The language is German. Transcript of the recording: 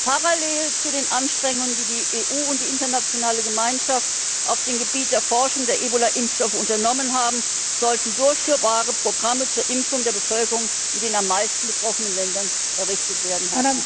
Parallel zu den Anstrengungen, die die EU und die internationale Gemeinschaft auf dem Gebiet der Forschung der Ebola Impfstoffe unternommen haben, sollten durchführbare Programme zur Impfung der Bevölkerung in den am meisten betroffenen Ländern aufgestellt werden.